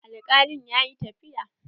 Alkalin ya yi tafiya.